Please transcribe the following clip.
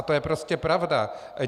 A to je prostě pravda.